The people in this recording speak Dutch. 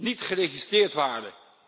niet geregistreerd waren.